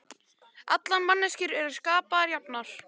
Allar manneskjur eru skapaðar jafnar